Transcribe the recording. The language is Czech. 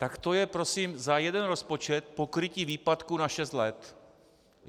Tak to je prosím za jeden rozpočet pokrytí výpadku na šest let.